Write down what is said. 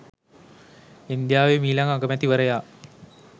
ඉන්දියාවේ මීළඟ අගමැතිවරයා